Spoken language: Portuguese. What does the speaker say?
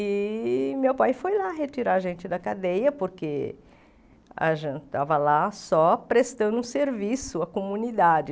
E meu pai foi lá retirar a gente da cadeia, porque a gente estava lá só prestando um serviço à comunidade.